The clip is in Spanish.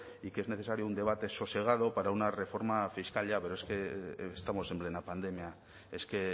y que es necesario un debate sosegado para una reforma fiscal ya pero es que estamos en plena pandemia es que